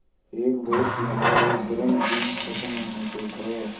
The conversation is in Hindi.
एक बहुत लम्बा और गर्म दिन ख़त्म होने को था